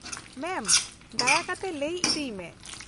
ᱢᱮᱢ ᱫᱟᱭᱟ ᱠᱟᱛᱮ ᱞᱟᱹᱭ ᱤᱫᱤᱭ ᱢᱮ ᱾